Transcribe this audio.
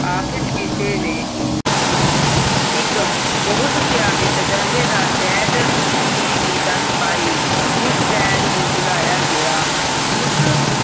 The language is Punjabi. ਅਖੀਰ ਕਿਸੇ ਨੇ ਇਕ ਬਹੁਤ ਸਿਆਣੇ ਤਜਰਬੇਦਾਰ ਵੈਦ ਦੀ ਉਸ ਵੈਦ ਨੂੰ ਬੁਲਾਇਆ ਗਯਾ.